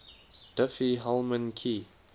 diffie hellman key